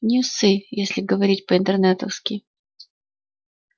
ньюсы если говорить по-интернетовски